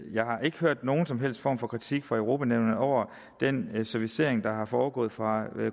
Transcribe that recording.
jeg har ikke hørt nogen som helst form for kritik fra europa nævnet over den servicering der er foregået fra